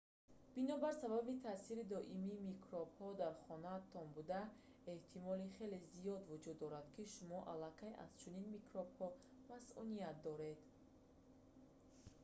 бинобар сабаби таъсири доимии микробҳои дар хонаатон буда эҳтимоли хеле зиёд вуҷуд дорад ки шумо аллакай аз чунин микробҳо масуният доред